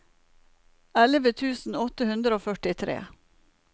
elleve tusen åtte hundre og førtitre